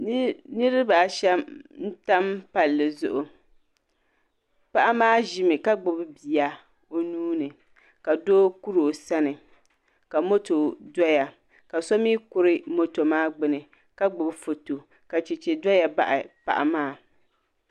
Niriba shɛm n tam palli zuɣu ka gbubi bia o nuuni ka doo kurosani ka motɔ doya ka somi kuri moto maagbuni kagbubi fɔtɔ ka chɛchɛ doya n baɣi paɣi maa